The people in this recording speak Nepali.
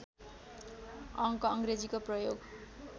अङ्क अङ्ग्रेजीको प्रयोग